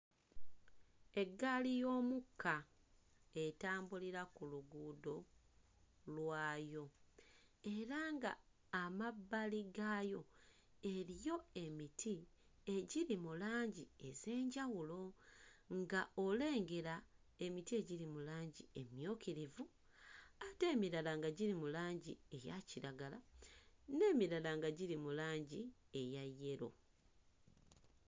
Eggaali y'omukka etambulira ku luguudo lwayo era nga amabbali gaayo eriyo emiti egiri mu langi ez'enjawulo, ng'olengera emiti egiri mu langi emmyukirivu ate emirala nga giri mu langi eya kiragala, n'emirala nga giri mu langi eya yero.